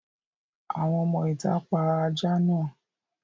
Àwọn ọmọ-ìtà pa ajá náà.